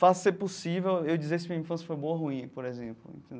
fácil ser possível eu dizer se minha infância foi boa ou ruim, por exemplo.